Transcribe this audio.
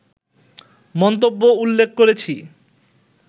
মন্তব্য উল্লেখ করেছি